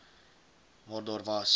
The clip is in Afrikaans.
maar daar was